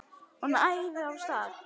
Hún æðir af stað.